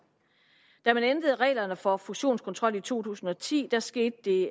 da man ændrede reglerne for fusionskontrol i to tusind og ti skete det